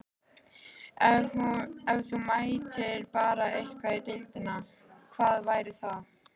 Ef þú mættir bæta eitthvað í deildinni, hvað væri það?